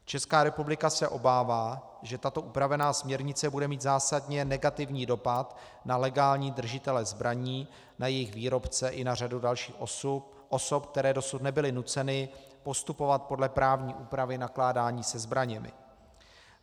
Česká republika se obává, že tato upravená směrnice bude mít zásadně negativní dopad na legální držitele zbraní, na jejich výrobce i na řadu dalších osob, které dosud nebyly nuceny postupovat podle právní úpravy nakládání se zbraněmi.